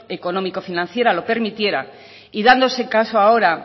económico financiera lo permitiera y dándose el caso ahora